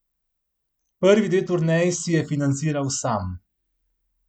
Prvi dve turneji si je financiral sam.